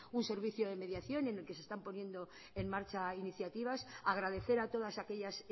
un servicio de mediación en el que se están poniendo en marcha iniciativas agradecer a todas aquellas